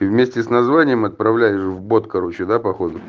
и вместе с названием отправляешь в бот короче да походу